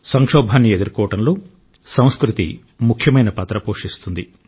సంక్షోభాన్ని ఎదుర్కోవడంలో సంస్కృతి ముఖ్యమైన పాత్ర పోషిస్తుంది